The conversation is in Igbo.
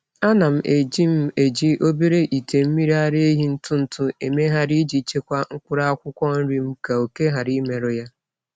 Ana m eji m eji obere ite mmiri ara ehi ntụ ntụ emegharị iji chekwaa mkpụrụ akwụkwọ nri m ka òké ghara imerụ ya.